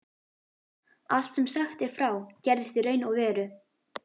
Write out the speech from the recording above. Allt sem sagt er frá, gerðist í raun og veru.